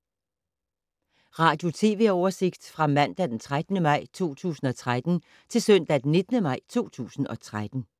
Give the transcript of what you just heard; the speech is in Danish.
Radio/TV oversigt fra mandag d. 13. maj 2013 til søndag d. 19. maj 2013